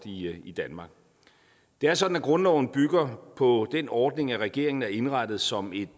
i danmark det er sådan at grundloven bygger på den ordning at regeringen er indrettet som et